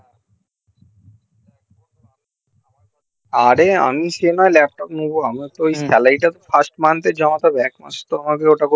আরে আমি সেনা ল্যাপটপ নেবো আমিতো salary টা first month এ জমা করবো